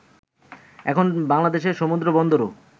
এখন বাংলাদেশের সমুদ্রবন্দরও